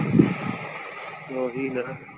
ਓਹੀ ਨਾ।